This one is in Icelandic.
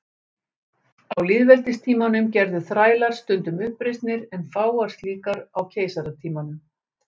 Á lýðveldistímanum gerðu þrælar stundum uppreisnir en fáar slíkar á keisaratímanum.